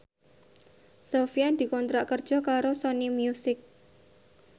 Sofyan dikontrak kerja karo Sony Music